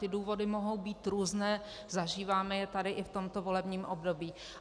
Ty důvody mohou být různé, zažíváme je tady i v tomto volebním období.